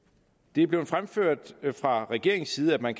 det er blevet fremført fra regeringens side at man